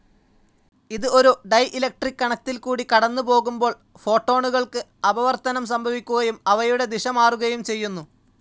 ഇത്, ഒരു ഡയലക്ട്രിക്‌ കണത്തിൽകൂടി കടന്നു പോകുമ്പോൾ, ഫോട്ടോണുകൾക്ക് അപവർത്തനം സംഭവിക്കുകയും, അവയുടെ ദിശമാറുകയും ചെയ്യുന്നു.